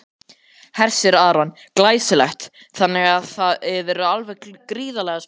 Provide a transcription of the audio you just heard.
Hersir Aron: Glæsilegt, þannig að þið eruð alveg gríðarlega spenntar?